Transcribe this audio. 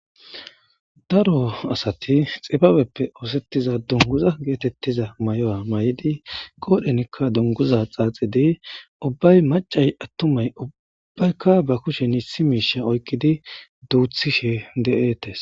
Daro asati xibabeppe osetiza dunguza getetiza mayo mayidi qodhenika dunguza qachidi ubbay macay attumati ubbayka duthisje de'etees.